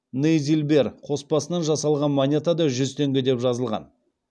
нейзильбер қоспасынан жасалған монетада жүз теңге деп жазылған